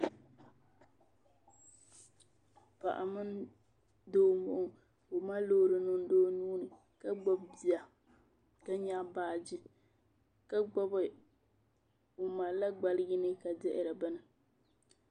Paɣa mini doo ka o mali loori niŋdi o nuuni ka gbibi bia ka nyaɣi baaji o malila gbali yini dihiri bini.